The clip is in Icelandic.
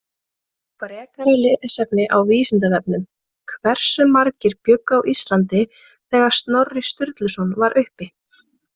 Frekara lesefni á Vísindavefnum: Hversu margir bjuggu á Íslandi þegar Snorri Sturluson var uppi?